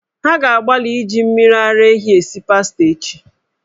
Ha ga-agbalị iji mmiri ara ehi esi pasta echi.